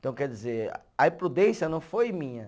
Então, quer dizer, a imprudência não foi minha.